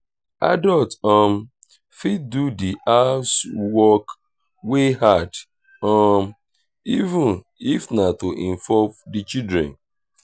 adult um fit do di housework wey hard um even if na to involve di children